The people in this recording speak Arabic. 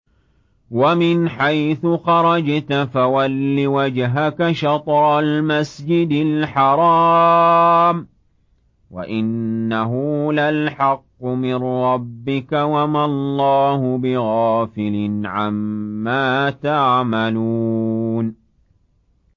وَمِنْ حَيْثُ خَرَجْتَ فَوَلِّ وَجْهَكَ شَطْرَ الْمَسْجِدِ الْحَرَامِ ۖ وَإِنَّهُ لَلْحَقُّ مِن رَّبِّكَ ۗ وَمَا اللَّهُ بِغَافِلٍ عَمَّا تَعْمَلُونَ